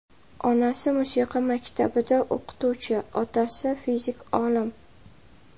Onasi musiqa maktabida o‘qituvchi, otasi fizik olim.